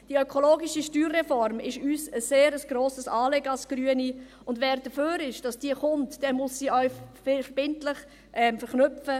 Die ökologische Steuerreform ist uns als Grüne ein sehr grosses Anliegen, und wer dafür ist, dass diese kommt, muss sie auch verbindlich verknüpfen.